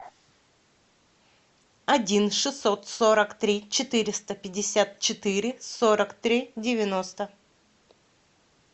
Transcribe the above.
один шестьсот сорок три четыреста пятьдесят четыре сорок три девяносто